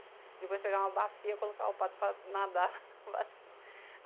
Depois de pegar uma bacia, eu colocava o pato para nadar na bacia.